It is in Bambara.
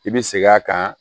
I bi segin a kan